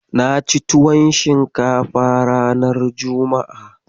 Na ci tuwon shinkafa ranar juma'a.